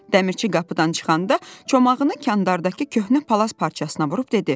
Dəmirçi qapıdan çıxanda çomağını kandardakı köhnə palaz parçasına vurub dedi.